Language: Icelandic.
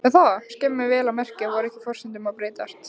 Og skammir, vel að merkja. voru ekki forsendurnar að breytast?